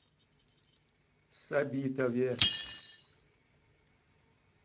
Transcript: сабитове